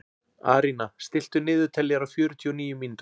Arína, stilltu niðurteljara á fjörutíu og níu mínútur.